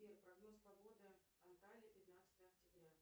сбер прогноз погоды анталии пятнадцатое октября